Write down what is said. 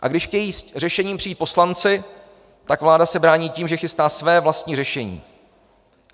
A když chtějí s řešením přijít poslanci, tak se vláda brání tím, že chystá své vlastní řešení.